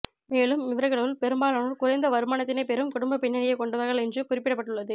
மேலும் இவர்களுள் பெரும்பாலானோர் குறைந்த வருமானத்தினைப் பெறும் குடும்ப பின்னணியை கொண்டவர்கள் என்று குறிப்பிடப்பட்டுள்ளது